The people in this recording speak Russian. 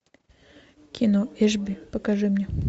кино эшби покажи мне